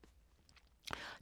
TV 2